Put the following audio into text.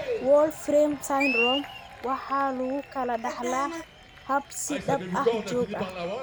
Wolfram syndrome waxa lagu kala dhaxlaa hab is-daba joog ah.